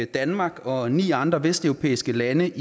danmark og ni andre vesteuropæiske lande